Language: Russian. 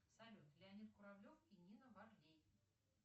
салют леонид куравлев и нина варлей